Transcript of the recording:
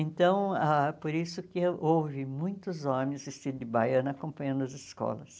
Então, ah por isso que houve muitos homens vestidos de baiana acompanhando as escolas.